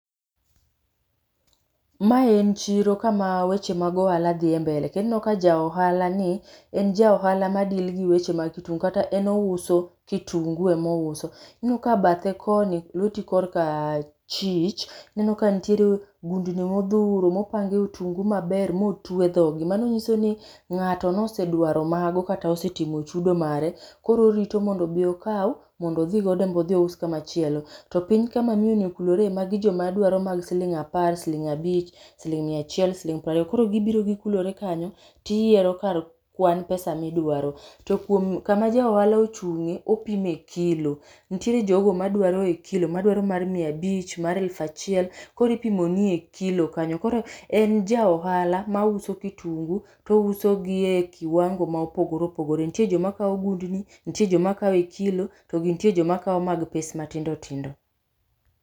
Mae en chiro kama weche mag ohala dhi mbele. Kendo ineno ka ja ohala ni en ja ohala ma deal gi weche mag kitungu kata en ouso kitungu ema ouso. Ineno ka bathe koni, lweti korka achich ineno ka nitiere gundni modhuro mopangi otungu maber motwe dhog gi. Mano nyiso ni ng'ato nosedwaro mago kata osetimo chudo mare, koro orito mondo obi okao mondo odhi godo en be odhi ous kama chielo. To piny kama miyoni okulore magi joma dwaro mag siling apar, siling abich, siling mia achiel ,siling prariyo. Koro gibiro gikulore kanyo tiyiero kwan pesa midwaro. To kuom, kama jo ohala ochunge opime kilo, nitiere jogo madwaro e kilo, mar mia abich, mar eluf achiel, koro ipimoni e kilo kanyo. Koro en ja ohala ma ouso kitungu to ouso gi e kiwango ma opogore opogore. Nitie joma kao gundni, nitie joma kao e kilo to nitie joma kao e pes matindo tindo